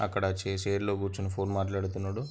అక్కడ చే-చైర్ లో కూర్చుని ఫోన్ మాట్లాడుతున్నాడు.